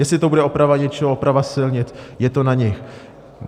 Jestli to bude oprava něčeho, oprava silnic, je to na nich.